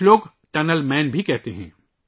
کچھ لوگ انہیں ٹنل مین بھی کہتے ہیں